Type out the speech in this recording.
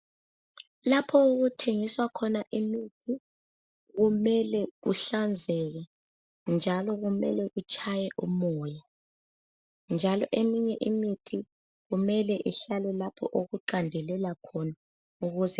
Lapho okuthengiswa khona imithi , kumele kuhlanzeke njalo kumele kutshaye umoya njalo eminye imithi kumele ihlale lapho okuqandelela khona ukuze